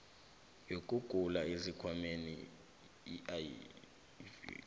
yokugula esikhwameni uif